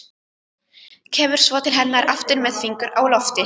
Kemur svo til hennar aftur með fingur á lofti.